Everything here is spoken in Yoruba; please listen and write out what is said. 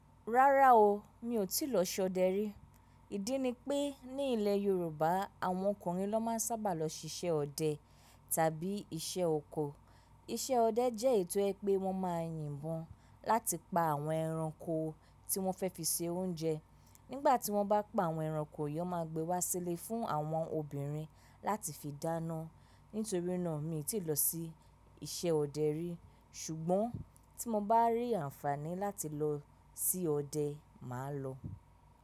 Rárá o, mi ò tí lọ sí ọdẹ rí. Ìdí ni pé ní ilẹ̀ Yorùbá, àwọn ọkùnrin ló máa ń sábà lọ ṣíṣe ọdẹ tàbí iṣẹ́ oko. Iṣẹ́ ọdẹ jẹ́ ètò ẹ pé wọ́n máa ń yìnbọn láti pa àwọn ẹranko tí wọ́n fẹ́ fi se oúnjẹ. Nígbà tí wọ́n bá pa àwọn ẹranko yi, won máa gbe wá sílè fún àwọn obìnrin láti fi dáná. Nítorí náà, mi ò tí ì lọ sí isẹ́ ọdẹ rí. Ṣùgbọ́n tí mo bá rí àǹfààní láti lọ sí ọdẹ, màá lọ.